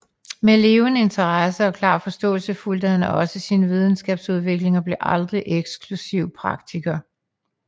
Med levende interesse og klar forståelse fulgte han også sin videnskabs udvikling og blev aldrig eksklusiv praktiker